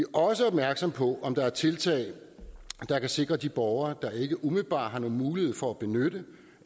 også opmærksomme på om der er tiltag der kan sikre de borgere der ikke umiddelbart har nogen mulighed for at benytte